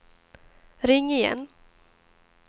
ring igen